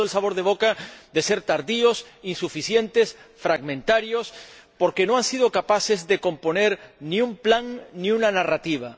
Han dejado el sabor de boca de ser tardíos, insuficientes, fragmentarios, porque no han sido capaces de componer ni un plan ni una narrativa.